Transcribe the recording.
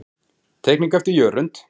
Teikning eftir Jörund.